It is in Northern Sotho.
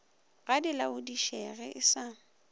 ga di laodišege e sa